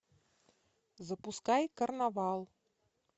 запускай карнавал